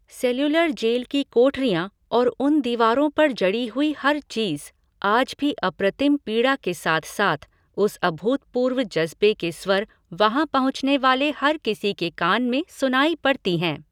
Cellular jail की कोठरियाँ और उन दीवारों पर जड़ी हुई हर चीज़, आज भी अप्रतिम पीड़ा के साथ साथ उस अभूतपूर्व जज़्बे के स्वर वहाँ पहुँचने वाले हर किसी के कान में सुनाई पड़ती हैं।